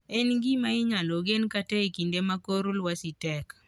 En gima inyalo gen kata mana e kinde ma kor lwasi tek.